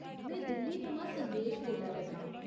में दिल्ली थमां संदेश बोल्लै करनां ।